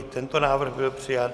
I tento návrh byl přijat.